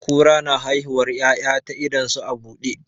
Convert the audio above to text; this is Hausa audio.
Kura na haihuwar 'ya'yan ta idon su a buɗe.